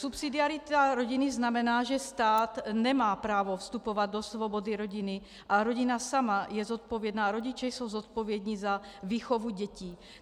Subsidiarita rodiny znamená, že stát nemá právo vstupovat do svobody rodiny a rodina sama je zodpovědná, rodiče jsou zodpovědni za výchovu dětí.